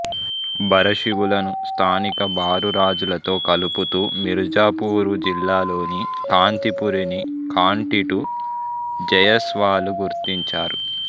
భరశివులను స్థానిక భారు రాజులతో కలుపుతూ మిర్జాపూరు జిల్లాలో కాంతిపురిని కాంటిటు జయస్వాలు గుర్తించారు